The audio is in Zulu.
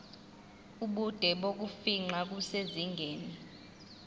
ubude bokufingqa kusezingeni